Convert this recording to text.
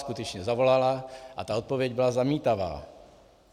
Skutečně zavolala a ta odpověď byla zamítavá.